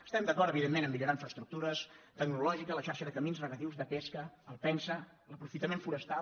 estem d’acord evidentment a millorar infraestructu·res tecnologia la xarxa de camins regadius de pes·ca el pensaa l’aprofitament forestal